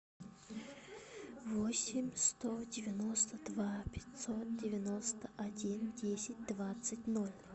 восемь сто девяносто два пятьсот девяносто один десять двадцать ноль